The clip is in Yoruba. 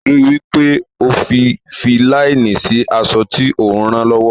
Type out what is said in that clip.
Ríi wí pé o fi fi láínì sí aṣọ tí o ń ran lọ́wọ́.